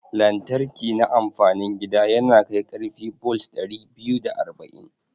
Lantriki na amfanin gida yanakai karfi bolt dari biyu da arba'in